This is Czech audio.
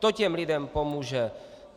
To těm lidem pomůže.